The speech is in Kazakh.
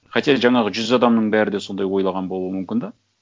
хотя жаңағы жүз адамның бәрі де сондай ойлаған болуы мүмкін де